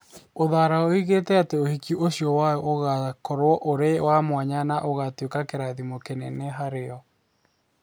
Uthara oigire ati ũhiki ũcio wao ũgaakorũo ũrĩ wa mwanya na ũgaatuĩka kĩrathimo kĩnene harĩ o.